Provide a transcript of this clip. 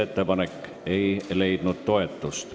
Ettepanek ei leidnud toetust.